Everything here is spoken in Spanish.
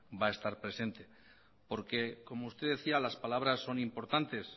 va a estar presente porque como usted decía las palabras son importantes